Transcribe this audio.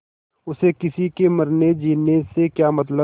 उसे किसी के मरनेजीने से क्या मतलब